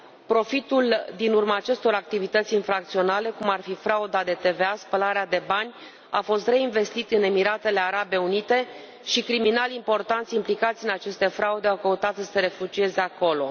Profitul din urma acestor activități infracționale, cum ar fi frauda de TVA, spălarea de bani, a fost reinvestit în Emiratele Arabe Unite și criminali importanți implicați în aceste fraude au căutat să se refugieze acolo.